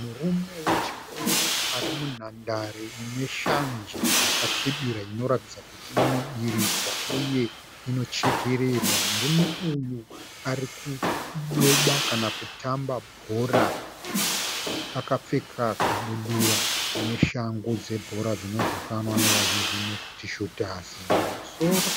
Murume wechikuru ari munhandare ine shanje yakasvibira inoratidza kuti inodiridzwa uye inochekererwa. Murume uyu ari kudoba kana kutamba bhora akapfeka kabudura neshangu dzebhora dzinozivikanwa nevazhinji nekuti shutazi. Mumusoro